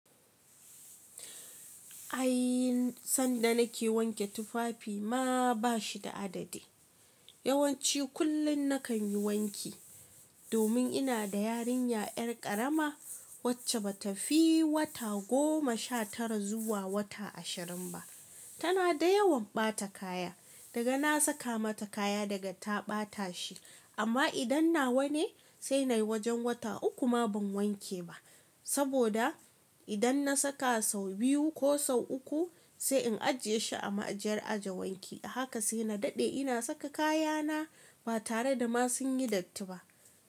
Ay sanda nake wanke tufafi ma bashi da adadi. Yawanci kullum nakan yi wanki Domin inada yarinya ƴar ƙarama, wacce batafi wata goma shatara zuwa wata ashirin ba Tana da yawan ɓata kaya Daga na saka mata kaya naga ta ɓata shi. Amma idan nawa ne sai nayi wajen wata uku ma ban wanke ba. Saboda idan na saka sau biyu ko sau uku sai in ajiye shi a ma'ajiyar aje wanki. Ahaka sai na daɗe ina saka kayana ba tare da ma sun yi datti ba.